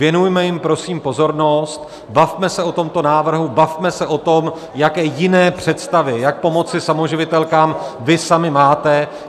Věnujme jim prosím pozornost, bavme se o tomto návrhu, bavme se o tom, jaké jiné představy, jak pomoci samoživitelkám, vy sami máte.